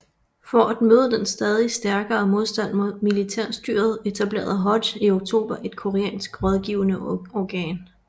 For at møde den stadig stærkere modstand mod militærstyret etablerede Hodge i oktober et koreansk rådgivende organ